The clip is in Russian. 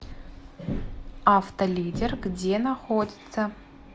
автолидер где находится